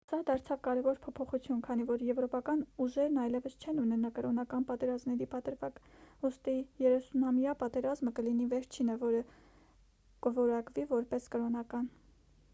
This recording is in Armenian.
սա դարձավ կարևոր փոփոխություն քանի որ եվրոպական ուժերն այլևս չեն ունենա կրոնական պատերազմների պատրվակ ուստի երեսունամյա պատերազմը կլինի վերջինը որը կորակվի որպես կրոնական